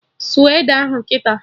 Sụọ ede ahụ kịta!